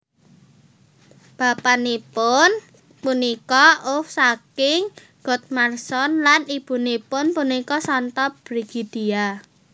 Bapanipun punika Ulf saking Godmarsson lan ibunipun punika Santa Brigidia